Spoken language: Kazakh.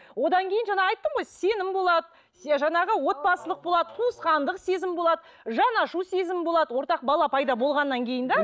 одан кейін жаңа айттым ғой сенім болады жаңағы отбасылық болады туысқандық сезім болады жаны ашу сезімі болады ортақ бала пайда болғаннан кейін де